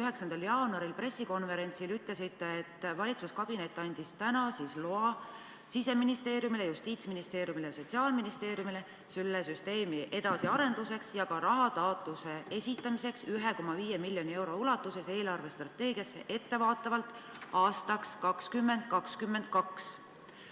9. jaanuari pressikonverentsil te ütlesite, et valitsuskabinet andis sel päeval Siseministeeriumile, Justiitsministeeriumile ja Sotsiaalministeeriumile loa seda süsteemi edasi arendada ja esitada eelarvestrateegiat silmas pidades ettevaatavalt aastaks 2022 rahataotlus 1,5 miljoni euro ulatuses.